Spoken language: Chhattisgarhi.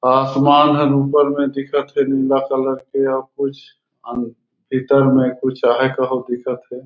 आसमान हर ऊपर में दिखत हे नीला कलर के आउ कुछ भीतर में कुछ आहय कहूं दिखत हे।